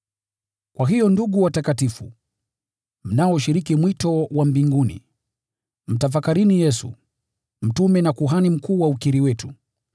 Kwa hiyo ndugu watakatifu, mnaoshiriki mwito wa mbinguni, mtafakarini Yesu, mtume na Kuhani Mkuu wa ukiri wetu.